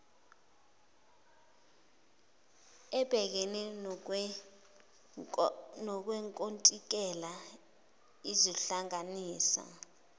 ebhekene nowenkontileka izohlanganisa